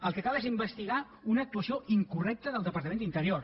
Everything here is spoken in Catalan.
el que cal és investigar una actuació incorrecta del departament d’interior